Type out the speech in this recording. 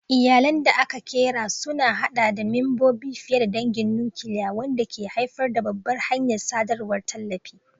Iyalan da aka ƙera sun haɗa da membobi fiye da dangin nukiliya, wanda ke haifar da babbar hanyar sadarwar tallafi.